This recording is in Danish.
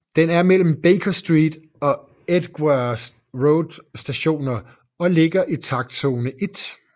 Den er mellem Baker Street og Edgware Road Stationer og ligger i takstzone 1